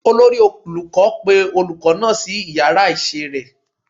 Olori olukọ pe olukọ naa si iyara isé rẹ